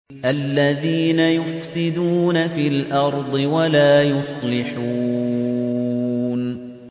الَّذِينَ يُفْسِدُونَ فِي الْأَرْضِ وَلَا يُصْلِحُونَ